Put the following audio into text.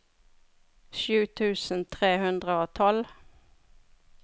sju tusen tre hundre og tolv